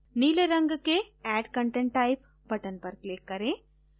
नीले रंग के add content type button पर click करें